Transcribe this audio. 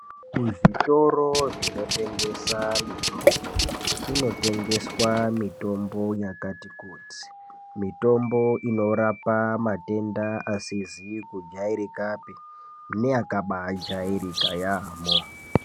Kuzvitoro zvinotengesaa mitombo kunot engeswaa mitonbo yakati kuti, mitombo inorapa matenda asizi kujairakapi neaka baaijairika yamhoo.